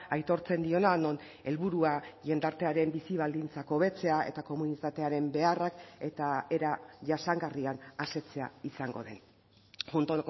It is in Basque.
aitortzen diona non helburua jendartearen bizi baldintzak hobetzea eta komunitatearen beharrak eta era jasangarrian asetzea izango den junto